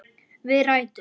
Við rætur